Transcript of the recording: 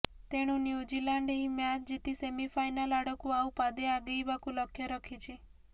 ତେଣୁ ନ୍ୟୁଜିଲ୍ୟାଣ୍ଡ ଏହି ମ୍ୟାଚ୍ ଜିତି ସେମିଫାଇନାଲ୍ ଆଡ଼କୁ ଆଉ ପାଦେ ଆଗେଇବାକୁ ଲକ୍ଷ୍ୟ ରଖିଛି